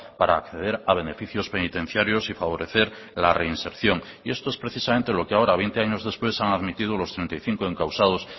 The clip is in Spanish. para acceder a beneficios penitenciarios y favorecer la reinserción y esto es precisamente lo que ahora veinte años después han admitido los treinta y cinco encausados